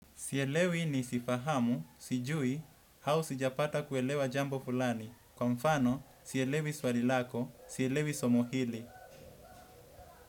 Sielewi nisifahamu, sijui, hau sijapata kuelewa jambo fulani. Kwa mfano, sielewi swali lako, sielewi somo hili.